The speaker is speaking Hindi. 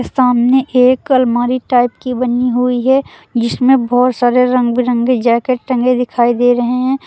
सामने एक अलमारी टाइप की बनी हुई है जिसमें बहुत सारे रंग बिरंगे जैकेट टगें दिखाई दे रहे हैं।